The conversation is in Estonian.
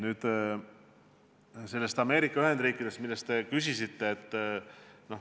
Nüüd Ameerika Ühendriikidest, kelle kohta te küsisite.